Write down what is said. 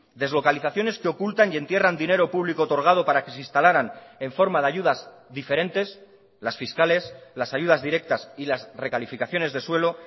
deslocalizaciones que ocultan y entierran dinero público otorgado para que se instalaran en forma de ayudas diferentes las fiscales las ayudas directas y las recalificaciones de suelo